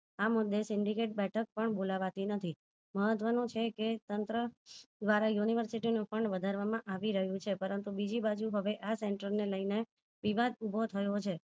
આ મુદે syndicate બેઠક પણ બોલાવતી નથી મહત્વ નું છે કે તંત્ર દ્વારા university નું પણ વધારવા માં આવી રહ્યું છે પરંતુ બીજી બાજુ હવે આ center ને લઈને વિવાદ ઉભો થયો છે